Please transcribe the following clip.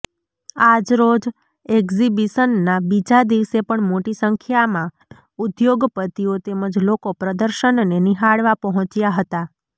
આજરોજ એકઝીબીશનના બીજા દિવસે પણ મોટી સંખ્યામાં ઉધોગપતિઓ તેમજ લોકો પ્રદર્શનને નિહાળવા પહોંચ્યા હતા